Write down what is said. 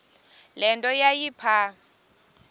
le nto yayipha